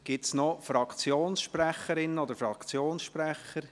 Gibt es noch Fraktionssprecherinnen oder Fraktionssprecher?